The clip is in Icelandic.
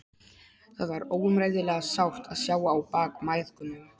Það var óumræðilega sárt að sjá á bak mæðgunum.